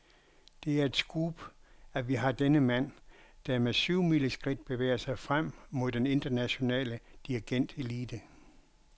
Det er et scoop, at vi har denne mand, der med syvmileskridt bevæger sig frem mod den internationale dirigentelite.